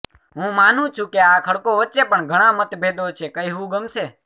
હું માનું છું કે આ ખડકો વચ્ચે પણ ઘણા મતભેદો છે કહેવું ગમશે